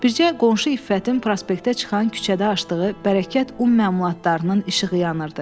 Bircə qonşu İffətin prospektə çıxan küçədə açdığı bərəkət un məmulatlarının işığı yanırdı.